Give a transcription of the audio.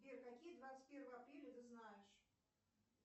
сбер какие двадцать первое апреля ты знаешь